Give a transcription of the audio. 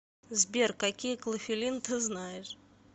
сбер какие клофелин ты знаешь